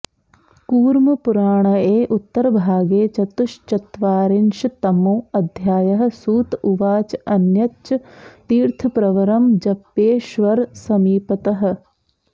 कूर्मपुराणए उत्तरभागे चतुश्चत्वारिंशत्तमोऽध्यायः सूत उवाच अन्यच्च तीर्थप्रवरं जप्येश्वरसमीपतः